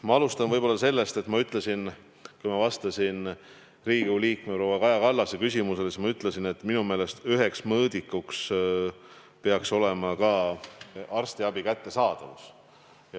Ma alustan sellest, et kui ma vastasin Riigikogu liikme proua Kaja Kallase küsimusele, siis ma ütlesin, et minu meelest peaks üheks mõõdikuks olema ka arstiabi kättesaadavus.